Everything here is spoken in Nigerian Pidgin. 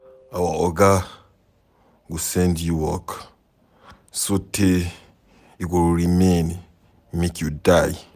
Our oga go send you work sotee e go remain make you die.